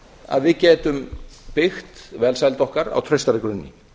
að við getum byggt velsæld okkar á traustari grunni